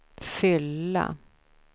fylla